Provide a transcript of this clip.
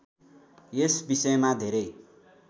यस विषयमा धेरै